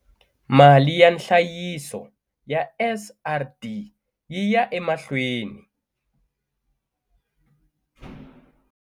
Mali ya nhlayiso ya SRD yi ya emahlweni.